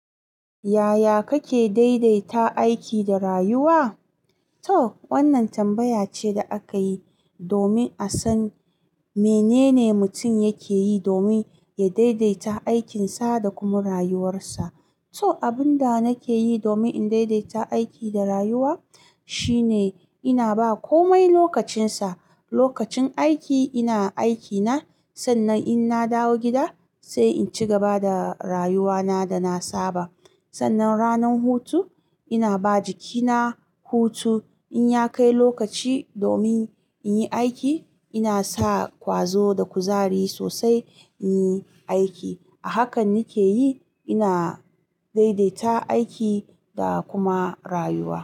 Yaya kake daidaita aiki da rayuwa? To wannan tambaya ce da aka yi domin a san menene mutum yake yi domin ya daidaita aikinsa da kuma rayuwarsa. To abin da nake yi domin in daidaita aiki da rayuwa shine ina ba komai lokacinsa. Lokacin aiki ina aikina, sannan in na dawo gida sai in ci gaba da rayuwana da na saba. Sannan ranar hutu ina ba jikina hutu. In ya kai lokaci domin in yi aiki ina sa ƙwazo da kuzari sosai in yi aiki. Hakan nake yi ina daidaita aiki da kuma rayuwa.